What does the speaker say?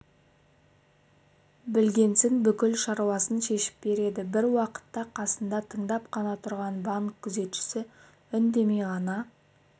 білгенсін бүкіл шаруасын шешіп береді бір уақытта қасында тыңдап қана тұрған банк күзетшісі үндемей ғана